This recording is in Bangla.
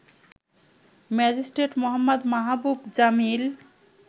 ম্যাজিট্রেট মো. মাহাবুব জামিল